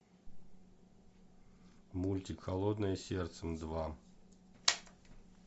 мультик холодное сердце два